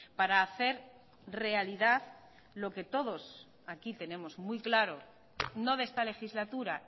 para hacer realidad lo que todos aquí tenemos muy claro no de esta legislatura